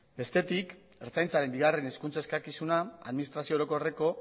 bestetik ertzaintzaren bigarrena hizkuntza eskakizuna administrazio orokorreko